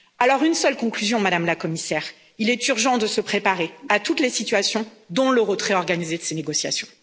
Alors une seule conclusion, Madame la Commissaire, il est urgent de se préparer à toutes les situations, dont le retrait organisé de ces négociations.